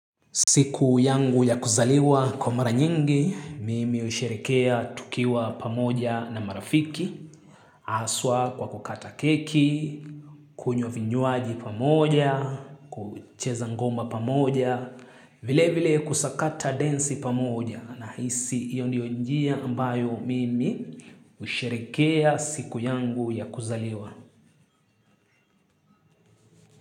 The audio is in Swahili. Siku yangu ya kuzaliwa kwa mara nyingi, mimi husherekea tukiwa pamoja na marafiki, haswa kwa kukata keki, kunywa vinywaji pamoja, kucheza ngoma pamoja, vile vile kusakata densi pamoja nahisi hio ndio njia ambayo mimi usherikea siku yangu ya kuzaliwa.